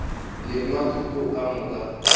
le nwa thuto ka moka